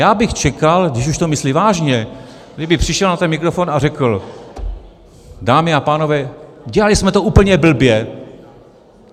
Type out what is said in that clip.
Já bych čekal, když už to myslí vážně, kdyby přišel na ten mikrofon a řekl: Dámy a pánové, dělali jsme to úplně blbě.